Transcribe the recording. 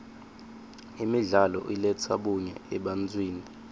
imidlalo iletsa bunye ebantfwini